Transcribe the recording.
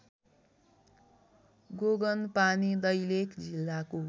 गोगनपानी दैलेख जिल्लाको